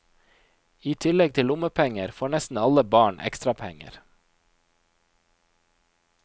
I tillegg til lommepenger, får nesten alle barn ekstrapenger.